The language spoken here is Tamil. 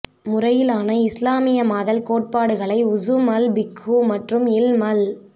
முறையிலான இஸ்லாமியமாதல் கோட்பாடுகளை உஸுல் அல் பிக்ஹு மற்றும் இல்ம் அல்